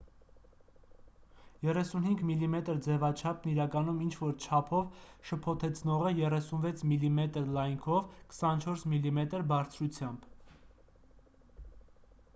35 մմ ձևաչափն իրականում ինչ-որ չափով շփոթեցնող է 36 մմ լայնքով 24 մմ բարձրությամբ